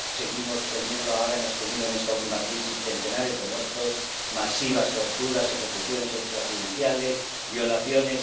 Seguimos teniendo, ahora hemos tenido en esta última crisis, centenares de muertos, masivas torturas, ejecuciones extrajudiciales, violaciones.